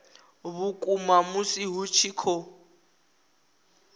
vhukuma musi hu tshi khou